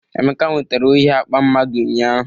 Emeka nwetara ohi akpa ssomeone ụnyahụ